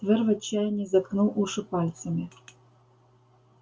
твер в отчаянии заткнул уши пальцами